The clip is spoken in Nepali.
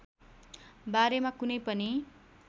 बारेमा कुनै पनि